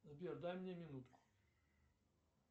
сбер дай мне минутку